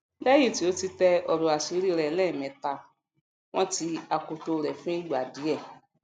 lẹyìn tí ó tẹ ọròàṣírí rẹ lẹẹmẹta wọn ti akoto rẹ fún ìgbà díè